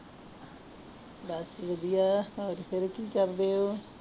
ਬਸ ਵਧੀਆ ਹੋਰ ਫਿਰ ਕੀ ਕਰਦੇ ਹੋ?